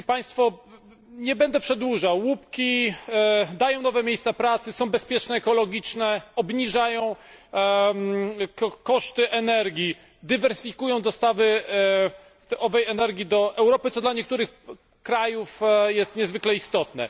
Szanowni Państwo! Nie będę przedłużał łupki dają nowe miejsca pracy, są bezpieczne, ekologiczne, obniżają koszty energii, dywersyfikują dostawy owej energii do Europy, co dla niektórych krajów jest niezwykle istotne.